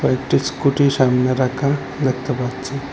একটি স্কুটি সামনে রাখা দেখতে পাচ্চি ।